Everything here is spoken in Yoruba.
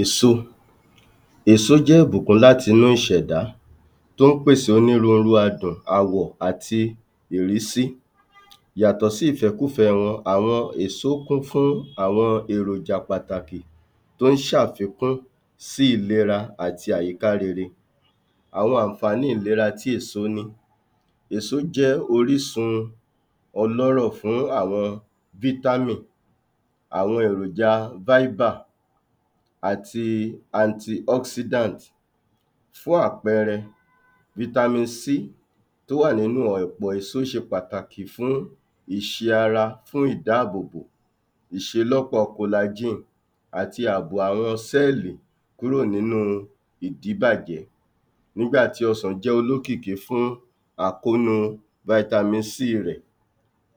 Èso, èso jẹ́ ìbùkún láti’nú ìṣẹ̀dá tó ń pèsè onírúurú adùn, àwọ̀, àti ìrísí yàtọ̀ sí ìfẹ́kúfẹ wọn àwọn èso kún fún àwọn èròjà pàtàkì tó ń ṣàfikún sí ìlera àti àyíká rere. Àwọn àǹfàní ìlera tí èso ní, èso jẹ́ orísun ọlọ́rọ̀ fún àwọn vitamin àwọn èròjà fibre àti anti oxidant. Fún àpẹẹrẹ, vitamin C tó wà nínú ọ̀pọ̀ èso ṣe pàtàkì fún ìṣe ara fún ìdáàbòbò ìṣelọ́pọ̀ collagen àti àbò àwọn cell kúrò nínú ìdíbàjẹ́ nígbà tí ọsàn jẹ́ olókìkí fún àkónu vitamin c rẹ̀.